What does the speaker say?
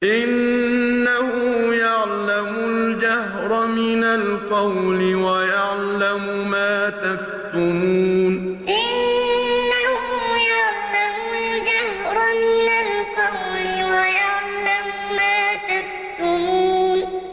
إِنَّهُ يَعْلَمُ الْجَهْرَ مِنَ الْقَوْلِ وَيَعْلَمُ مَا تَكْتُمُونَ إِنَّهُ يَعْلَمُ الْجَهْرَ مِنَ الْقَوْلِ وَيَعْلَمُ مَا تَكْتُمُونَ